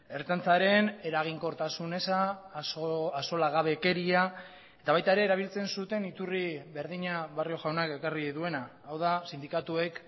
ertzaintzaren eraginkortasun eza axolagabekeria eta baita ere erabiltzen zuten iturri berdina barrio jaunak ekarri duena hau da sindikatuek